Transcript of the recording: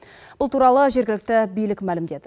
бұл туралы жергілікті билік мәлімдеді